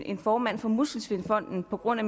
en formand for muskelsvindfonden på grund af